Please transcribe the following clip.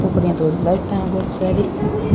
ऊपर इया धोली लाइटाँ है बोली सारी।